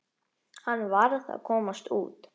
Hann varð að komast út.